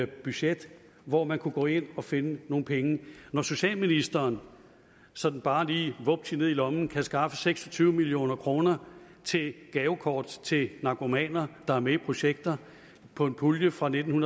budget hvor man kunne gå ind og finde nogle penge når socialministeren sådan bare lige vupti ned i lommen kan skaffe seks og tyve million kroner til gavekort til narkomaner der er med i projekter fra en pulje fra nitten